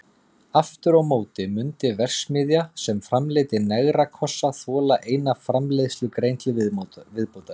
Aftur á móti mundi verksmiðja sem framleiddi negrakossa þola eina framleiðslugrein til viðbótar.